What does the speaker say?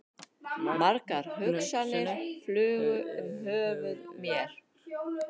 Margar hugsanir flugu um höfuð mér.